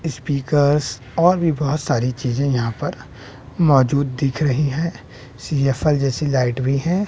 Speakers और भी बोहोत सारी चीजें यहां पर मौजूद दिख रही हैं सी_एफ_एल जैसी लाइट भी हैं।